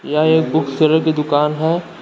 यह एक book seller की दुकान है।